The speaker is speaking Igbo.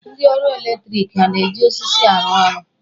Ndị ọrụ eletriki ha a na-eji osisi arụ ọrụ?